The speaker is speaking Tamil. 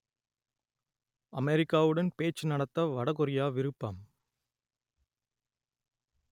அமெரிக்காவுடன் பேச்சு நடத்த வடகொரியா விருப்பம்